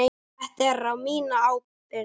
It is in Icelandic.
Þetta er á mína ábyrgð.